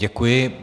Děkuji.